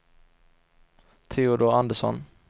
Teodor Andersson